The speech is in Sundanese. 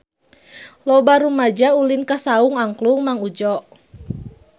Loba rumaja ulin ka Saung Angklung Mang Udjo